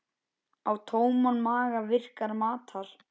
Á tóman maga virkar matar